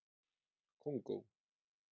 Kongó